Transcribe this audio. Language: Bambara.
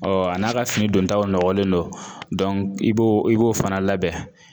a n'a ka fini dontaw nɔgɔlen don i b'o i b'o fana labɛn